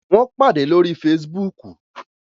Wón pàdé lórí facebook